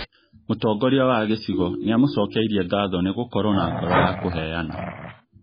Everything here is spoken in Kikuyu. Mũtongoria wa gĩcigo nĩamũcokeirie ngatho nĩgũkorwo na ngoro ya kũheana